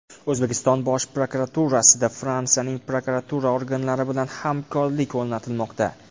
O‘zbekiston Bosh prokuraturasida Fransiyaning prokuratura organlari bilan hamkorlik o‘rnatmoqda.